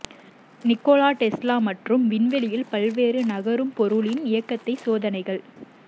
Nikola Tesla மற்றும் விண்வெளியில் பல்வேறு நகரும் பொருளின் இயக்கத்தை சோதனைகள்